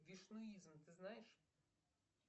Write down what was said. вишнуизм ты знаешь